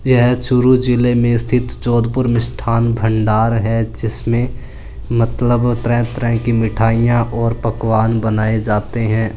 यह चूरू जीले में स्तिथ जोधपुर मिष्ठान भण्डार है जिसमे मतलब तरह तरह की मिठाईया और पकवान बनाये जाते है।